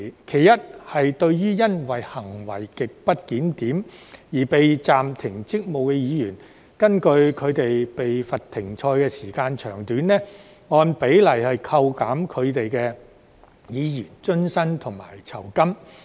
其一是對於因行為極不檢點而被暫停職務的議員，根據他們被罰"停賽"的時間長短，按比例扣減其議員津貼及酬金。